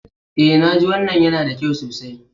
Eh naji. Wannan yana da kyau sosai.